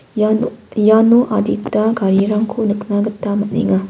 ia nok iano adita garirangko nikna gita man·enga.